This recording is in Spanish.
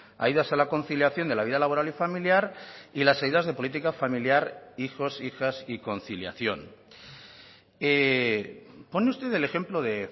ayudas a la conciliación de la vida laboral y familiar y las ayudas de política familiar hijos hijas y conciliación pone usted el ejemplo de